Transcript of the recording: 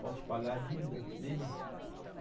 Posso te pagar a dívida dele?